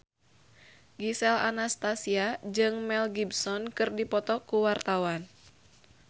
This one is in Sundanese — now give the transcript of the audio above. Gisel Anastasia jeung Mel Gibson keur dipoto ku wartawan